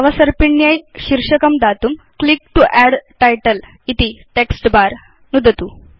अवसर्पिण्यै शीर्षकं दातुं यत् क्लिक तो अद्द् टाइटल इति वदति तत् टेक्स्ट् बर नुदतु